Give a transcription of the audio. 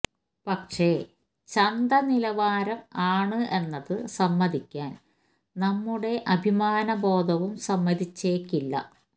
പക്ഷെ ചന്ത നിലവാരം ആണ് എന്നത് സമ്മതിക്കാൻ നമ്മുടെ അഭിമാന ബോധവും സമ്മതിച്ചേക്കില്ല